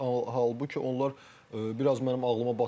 Halbuki onlar biraz mənim ağlıma batmadı.